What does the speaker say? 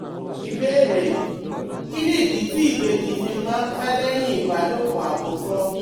Ìbéèrè: Kí nìdí tí ìbejì fi máa ń pẹ́ lẹ́yìn ìbálòpọ̀ àkọ́kọ́?